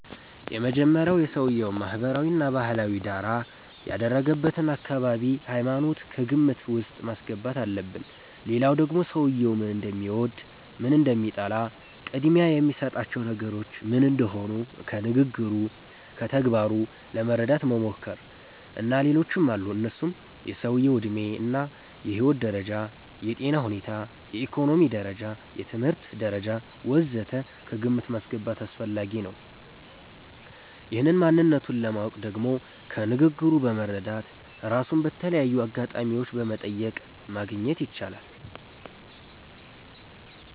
የመጀመሪያዉ የሰዉየዉን ማህበራዊ እና ባህላዊ ዳራ፣ ያደገበትን አካባቢ፣ ሃይማኖት ከግምት ዉስጥ ማስገባት አለብን ሌላዉ ደግሞ ሰዉየዉ ምን እንደሚወድ፣ ምን እንደሚጠላ፣ ቅድሚያ የሚሰጣቸው ነገሮች ምን እንደሆኑ ከንግግሩ፣ ከተግባሩ ለመረዳት መሞከር። እና ሌሎችም አሉ እነሱም የሰዉየዉ ዕድሜ እና የህይወት ደረጃ፣ የጤና ሁኔታ፣ የኢኮኖሚ ደረጃ፣ የትምህርት ደረጃ ወ.ዘ.ተ ከግምት ማስገባት አስፈላጊ ነዉ። ይህን ማንነቱን ለማወቅ ደግሞ ከንግግሩ በመረዳት፣ ራሱን በተለያዩ አጋጣሚዎች በመጠየቅ ማግኘት ይቻላል